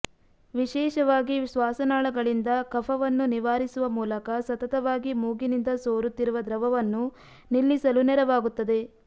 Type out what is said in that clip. ವಿಶೇಷವಾಗಿ ಶ್ವಾಸನಾಳಗಳಿಂದ ಕಫವನ್ನು ನಿವಾರಿಸುವ ಮೂಲಕ ಸತತವಾಗಿ ಮೂಗಿನಿಂದ ಸೋರುತ್ತಿರುವ ದ್ರವವನ್ನು ನಿಲ್ಲಿಸಲು ನೆರವಾಗುತ್ತದೆ